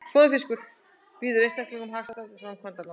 Býður einstaklingum hagstæð framkvæmdalán